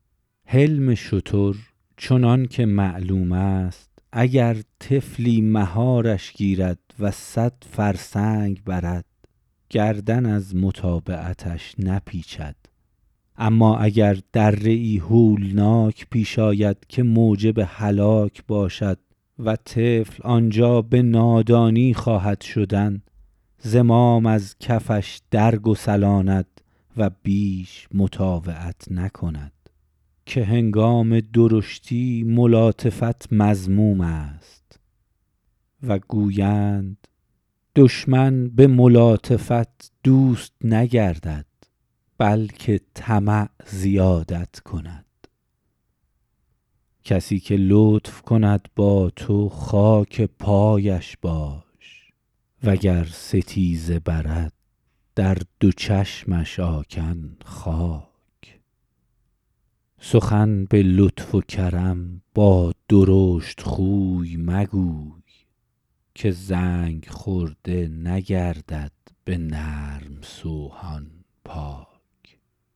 حلم شتر چنان که معلوم است اگر طفلی مهارش گیرد و صد فرسنگ برد گردن از متابعتش نپیچد اما اگر دره ای هولناک پیش آید که موجب هلاک باشد و طفل آنجا به نادانی خواهد شدن زمام از کفش در گسلاند و بیش مطاوعت نکند که هنگام درشتی ملاطفت مذموم است و گویند دشمن به ملاطفت دوست نگردد بلکه طمع زیادت کند کسی که لطف کند با تو خاک پایش باش وگر ستیزه برد در دو چشمش آکن خاک سخن به لطف و کرم با درشتخوی مگوی که زنگ خورده نگردد به نرم سوهان پاک